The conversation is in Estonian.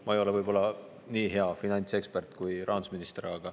Ma ei ole võib-olla nii hea finantsekspert kui rahandusminister.